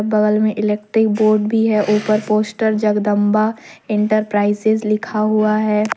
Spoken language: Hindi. बगल में इलेक्ट्रिक बोर्ड भी है ऊपर पोस्टर जगदंबा इंटरप्राइजेज लिखा हुआ है।